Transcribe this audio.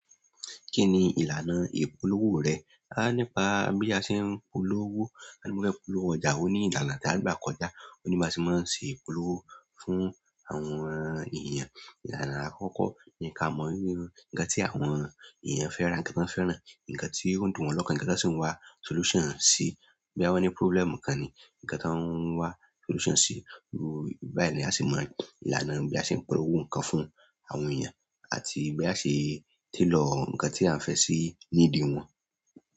Kí ni ìlànà ìpolówó rẹ̀? A nípa bí a ṣe ń polówó, a ní pé polówó ọjà ò ní ìlànà tí a gbà kọjá, ò ní bá ṣe máa ṣe ìpolówó fún àwọn ènìyàn. Ìlànà àkọ́kọ́ ni kí a mọ̀ irú ńǹkan tí àwọn ènìyàn fẹ́ ra, ǹkan tí wọ́n fẹ́ràn, ǹkan tí ó dùn wọn lọ́kàn, ǹkan tí wọ́n sì ń wá solution sí. Bóyá wón ní problem kan ni ǹkan tí wọ́n ń wá solution sí. Lóò báyìí ni a sì mọ ìlànà bí a ṣe ń polówó ǹkan fún àwọn ènìyàn àti bí a ṣe tailor ǹkan tí a ń fẹ́ sí nídì wọn.